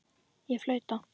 Ég flauta.